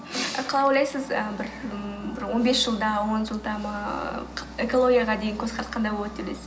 қалай ойлайсыз ы бір ммм бір он бес жылда он жылда ма экологияға деген көзқарас қандай болады деп ойлайсыз